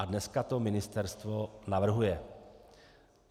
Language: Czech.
A dnes to ministerstvo navrhuje.